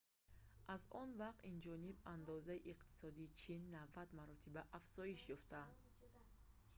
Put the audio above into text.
аз он вақт инҷониб андозаи иқтисодии чин 90 маротиба афзоиш ёфт